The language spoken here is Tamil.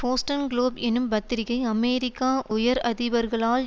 போஸ்டன் குளோப் எனும் பத்திரிகை அமெரிக்கா உயர் அதிபர்களால்